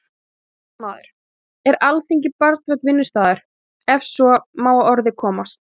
Fréttamaður: Er Alþingi barnvænn vinnustaður, ef svo má að orði komast?